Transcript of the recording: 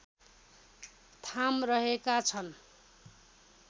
थाम रहेका छन्